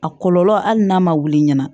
A kɔlɔlɔ hali n'a ma wuli ɲina